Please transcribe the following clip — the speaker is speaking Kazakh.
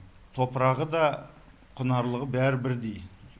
топырағы да құнарлығы бәрі бірдей